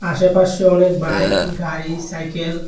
আশেপাশে অনেক বাইক গাড়ি সাইকেল --